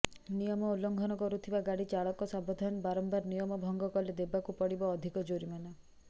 ନିୟମ ଉଲଙ୍ଘନ କରୁଥିବା ଗାଡି ଚାଳକ ସାବଧାନ ବାରମ୍ବାର ନିୟମ ଭଙ୍ଗ କଲେ ଦେବାକୁ ପଡିବ ଅଧିକ ଜରିମାନା